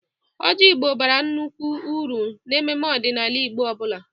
Ọjị Igbo bara nnukwu uru n'emume ọdịnala Igbo ọ bụla.